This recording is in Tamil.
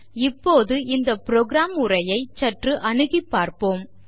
இப்பொழுது இந்த புரோகிராம் உரையை ஐ சற்று அணுகிப் பார்ப்போம்